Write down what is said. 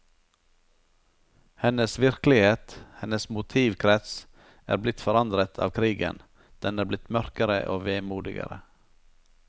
Hennes virkelighet, hennes motivkrets, er blitt forandret av krigen, den er blitt mørkere og vemodigere.